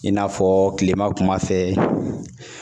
I n'a fɔ tilema kuma fɛ